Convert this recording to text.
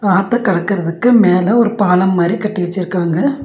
ஆத்த கடக்குறதுக்கு மேல ஒரு பாலம் மாரி கட்டி வச்சிருக்காங்க.